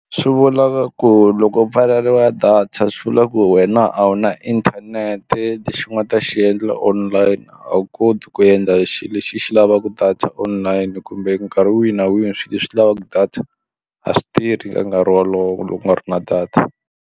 Swi vula ku loko u pfaleriwa data swivula ku wena a wu na inthanete lexi u nga ta xi endla online a wu koti ku endla xilo lexi xi lavaka data online kumbe nkarhi wihi na wihi swilo leswi lavaka data a swi tirhi ka nkarhi wolowo loko ku nga ri na data.